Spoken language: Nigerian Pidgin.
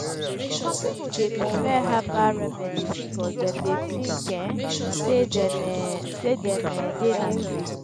some people dey prefer herbal remedies because dem dey think um say dem um say dem um dey natural.